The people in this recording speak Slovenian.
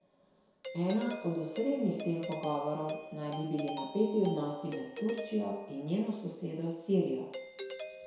Ena od osrednjih tem pogovorov naj bi bili napeti odnosi med Turčijo in njeno sosedo Sirijo.